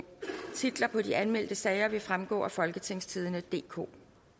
titlerne på de anmeldte sager vil fremgå af folketingstidende DK